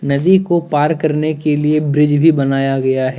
नदी को पार करने के लिए ब्रिज भी बनाया गया है।